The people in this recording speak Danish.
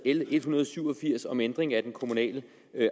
l en hundrede og syv og firs om ændring af lov om kommunal